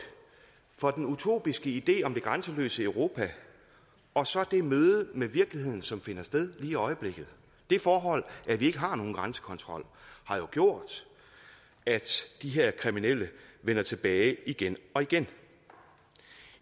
for den utopiske idé om det grænseløse europa og så det møde med virkeligheden som finder sted lige i øjeblikket det forhold at vi ikke har nogen grænsekontrol har jo gjort at de her kriminelle vender tilbage igen og igen